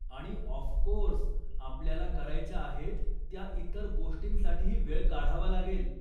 आणि ऑफकोर्स, आपल्याला करायच्या आहेत त्या इतर गोष्टींसाठीही वेळ काढावा लागेल.